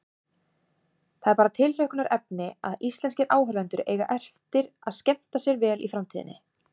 Það er bara tilhlökkunarefni að íslenskir áhorfendur eiga eftir að skemmta sér vel í framtíðinni.